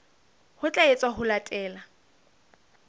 ho tla etswa ho latela